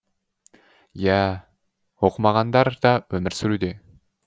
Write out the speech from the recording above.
иәә оқымағандар да өмір сүруде